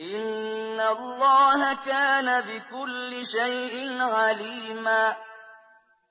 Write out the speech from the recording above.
إِنَّ اللَّهَ كَانَ بِكُلِّ شَيْءٍ عَلِيمًا